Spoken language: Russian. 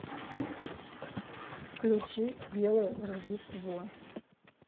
включи белое рождество